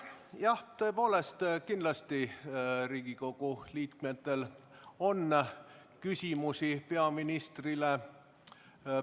Jah, kindlasti on Riigikogu liikmetel peaministrile küsimusi.